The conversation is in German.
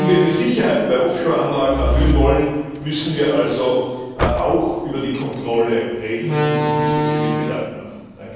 Wenn wir die Sicherheit bei Offshore Anlagen erhöhen wollen, müssen wir also auch über die Kontrolle reden und uns diesbezüglich Gedanken machen.